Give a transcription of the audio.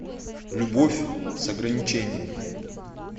любовь с ограничениями